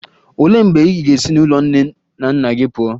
Olee mgbe ị ga-esi n'ụlọ nne na nna gị pụọ?